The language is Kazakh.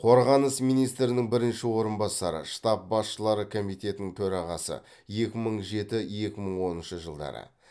қорғаныс министрінің бірінші орынбасары штаб басшылары комитетінің төрағасы екі мың жеті екі мың оныншы жылдары